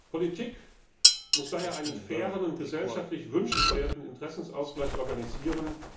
Politik muss daher einen fairen und gesellschaftlich wünschenswerten Interessensausgleich organisieren.